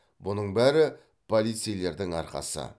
бұның бәрі полицейлердің арқасы